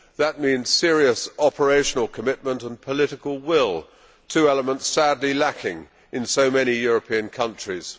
That means serious operational commitment and political will, two elements sadly lacking in so many European countries.